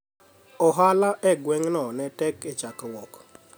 ohala e gweng' no ne tek e chakruok